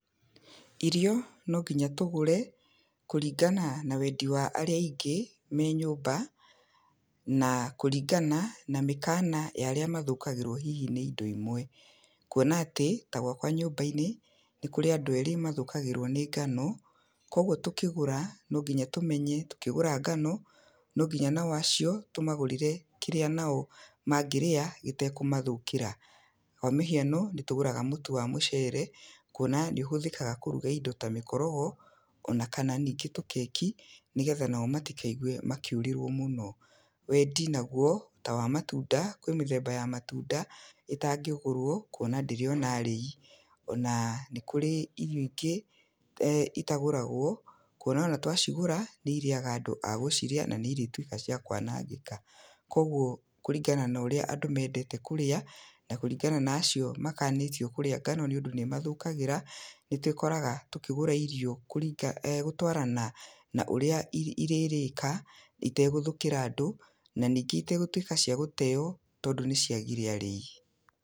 Irio no nginya tũgũre, kũringana na wendi wa arĩa aingĩ me nyũmba, na kũringana na mĩkana ya arĩa mathũkagĩrwo hihi nĩ indo imwe. Kuona atĩ ta gwakwa nyũmba-inĩ, nĩ kũrĩ andũ erĩ mathũkagĩrwo nĩ ngano, kogwo tũkĩgũra, no nginya tũmenye, tũkĩgũra ngano, no nginya onao acio tũmagũrĩre kĩrĩa nao mangĩrĩa gĩtekũmathũkĩra. Kwa mĩhiano nĩ tũgũraga mũtu wa mũcere kũona, nĩ ũhũthikaga kũruga indo ta mĩkorogo, ona kana ningĩ tũkeki nĩgetha o nao matikaigwe makĩũrirwo mũno. Wendi nagwo, ta wa matunda, kwĩ mĩthemba ya matunda, ĩtangĩgũrwo kuona ndĩrĩona arĩi, ona nĩ kũrĩ irio ingĩ itagũragwo, kũona ona twacigũra nĩ iriaga andũ a gũcirĩa na ni irĩtuĩka cĩa kũanangĩka. Kogwo kũringana na ũrĩa andũ mendete kũrĩa, na kũringana na acio makanĩtio kũrĩa ngano nĩ ũndu nĩ ĩmathũkagĩra, nĩ twĩkoraga tũkĩgũra irio kũrĩnga gũtũarana na ũria irĩrĩka itegũthũkĩra andũ na nyingĩ itegũtuĩka cĩa gũteo tondũ nĩ ciagire arĩi.